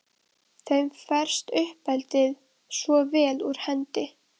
Þeim ferst uppeldið svo vel úr hendi.